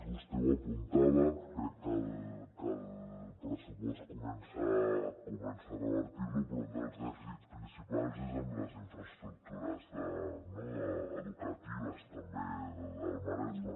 vostè ho apuntava crec que el pressupost comença a revertir lo però un dels dèficits principals és en les infraestructures educatives també del maresme